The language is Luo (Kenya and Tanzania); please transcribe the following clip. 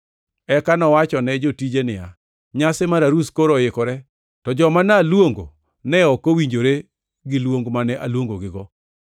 “Eka nowachone jotije ni, ‘Nyasi mar arus koro oikore, to joma naluongo ne ok owinjore gi luong mane aluongogigo.